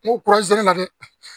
N ko na dɛ